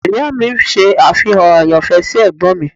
Ìyá mi ṣe àfihàn àyànfẹ́ sí Ẹ̀gbọ́n mi.